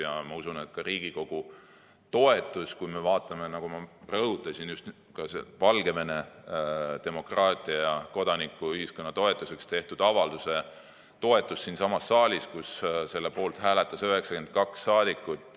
Rääkides Riigikogu toetusest, ma rõhutasin ka Valgevene demokraatia ja kodanikuühiskonna toetuseks tehtud avalduse toetamist siinsamas saalis, kus selle poolt hääletas 92 saadikut.